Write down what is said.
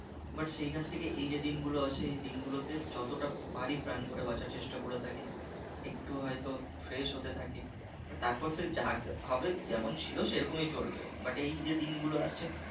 but সেইখান থেকে এই যে দিন গুলো আসে এই দিন গুলো তে যতটা পারি প্রাণ ভরে বাঁচার চেষ্টা করে থাকি, একটু হয়তো fresh হতে থাকি, তারপর যা হবে যেমন ছিল সে রকমই চলবে but এই যে দিনগুলো আসছে